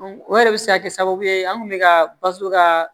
o yɛrɛ bi se ka kɛ sababu ye an kun be ka balo ka